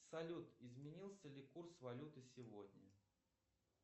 салют изменился ли курс валюты сегодня